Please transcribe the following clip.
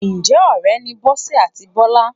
Ǹjẹ́ ọ̀rẹ́ ni Bọ́sẹ̀ àti Bọ́lá?